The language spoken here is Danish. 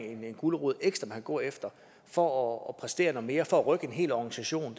gulerod ekstra man kan gå efter for at præstere noget mere for at rykke en hel organisation